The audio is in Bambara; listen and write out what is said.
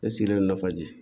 Ne sigilen nɔ faji